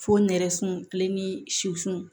Fo nɛrɛsun kile ni su